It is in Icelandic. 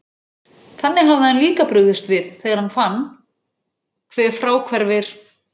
Þannig hafði hann líka brugðist við, þegar hann fann, hve fráhverfir